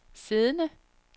siddende